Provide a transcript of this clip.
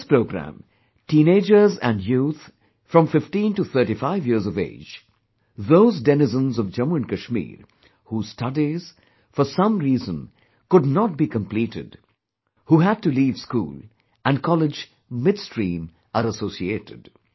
In this programme, teenagers and youth from 15 to 35 years of age, those denizens of Jammu and Kashmir whose studies, for some reason, could not be completed, who had to leave school and college midstream are associated